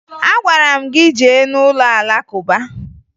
Agwara m gị jee n'ụlọ Alakụba